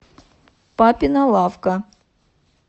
папина лавка